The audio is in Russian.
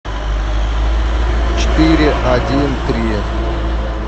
четыре один три